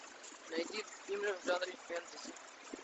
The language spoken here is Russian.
найди фильмы в жанре фэнтези